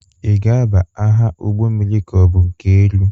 Ị ga-aba agha ụgbọ mmiri ka ọ bụ nke elu?